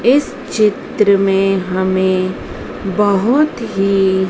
इस चित्र में हमें बहोत ही--